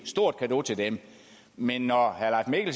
stort cadeau til dem men når herre leif